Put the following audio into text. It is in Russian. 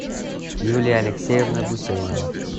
юлия алексеевна гусейнова